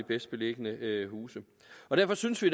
bedst beliggende huse derfor synes vi